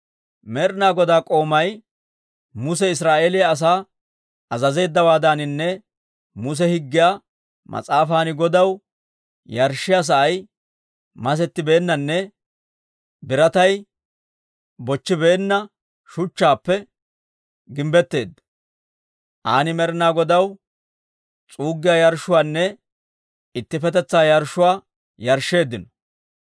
Med'ina Godaa k'oomay Muse Israa'eeliyaa asaa azazeeddawaadaaninne Muse Higgiyaa mas'aafan Godaw, yarshshiyaa sa'ay masettibeennanne biratay bochchibeenna shuchchaappe gimbbetteedda. Aan Med'ina Godaw s'uuggiyaa yarshshuwaanne ittippetetsaa yarshshuwaa yarshsheeddino.